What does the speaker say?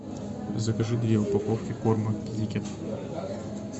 закажи две упаковки корма китикет